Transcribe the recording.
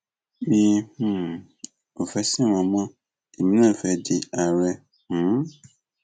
mi um ò fẹẹ sin wọn mọ èmi náà fẹẹ di àárẹ um